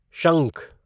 शंख